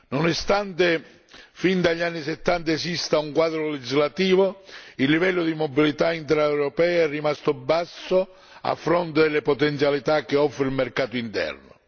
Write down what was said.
Benche fin dagli anni '70 esista un quadro legislativo, il livello di mobilità intraeuropea è rimasto basso a fronte delle potenzialità che offre il mercato interno.